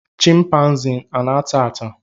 chịmpaizịn ana ata ata?